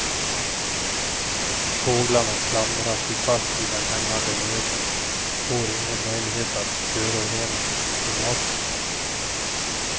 Fåglarna klamrar sig fast i den hängande nöten får ingen möjlighet att förorena i maten.